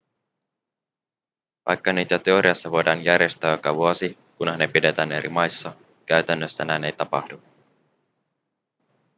vaikka niitä teoriassa voidaan järjestää joka vuosi kunhan ne pidetään eri maissa käytännössä näin ei tapahdu